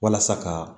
Walasa ka